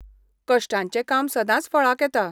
कश्टांचें काम सदांच फळाक येता.